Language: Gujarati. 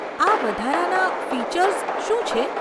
આ વધારાના ફીચર્સ શું છે?